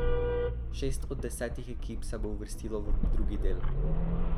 Šest od desetih ekip se bo uvrstilo v drugi del.